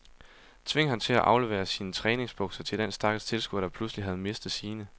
Tving ham til at aflevere sine træningsbukser til den stakkels tilskuer, der pludselig havde mistet sine.